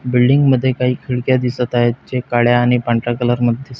building मध्ये काही खिडक्या दिसत आहेत जे काळ्या आणि पांढऱ्या कलरमध्ये दिसत --